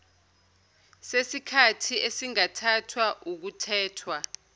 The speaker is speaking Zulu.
sesikhathi esingathathwa ukuthethwa